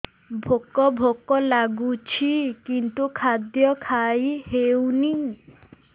ଭୋକ ଭୋକ ଲାଗୁଛି କିନ୍ତୁ ଖାଦ୍ୟ ଖାଇ ହେଉନି